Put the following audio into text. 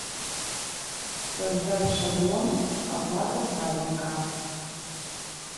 создай шаблон оплата садика